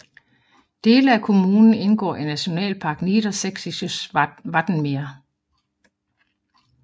Dele af kommunen indgår i Nationalpark Niedersächsisches Wattenmeer